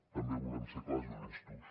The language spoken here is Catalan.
també volem ser clars i honestos